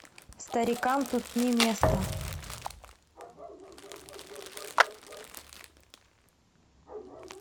старикам тут не место